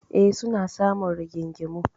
E, suna samun rigingimu.